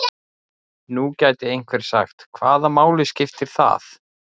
Nú gæti einhver sagt: Hvaða máli skiptir það?